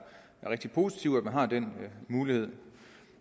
rigtig positivt at man har den mulighed